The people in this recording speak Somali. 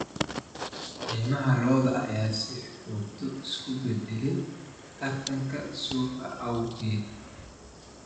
Qiimaha lo'da ayaa si joogto ah isu beddelaya tartanka suuqa awgeed.